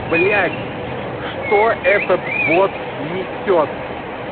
блять что этот бот несёт